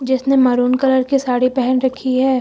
जिसने maroon colour की साड़ी पहन रखी है।